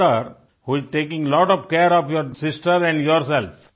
father who is taking lot of care your sister and yourself